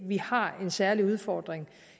vi har en særlig udfordring